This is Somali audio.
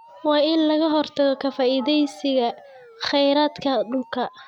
Waa in laga hortago ka faa�iidaysiga kheyraadka dhulka.